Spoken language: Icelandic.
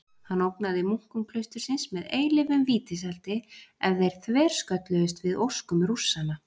Hann ógnaði munkum klaustursins með eilífum vítiseldi ef þeir þverskölluðust við óskum Rússanna.